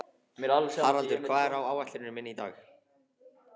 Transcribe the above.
Haraldur, hvað er á áætluninni minni í dag?